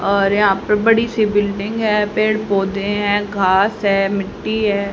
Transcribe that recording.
और यहां पर बड़ी सी बिल्डिंग है पेड़ पौधे हैं घास है मिट्टी है।